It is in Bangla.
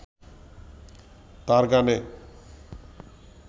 তাঁর গানে